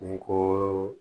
Kungo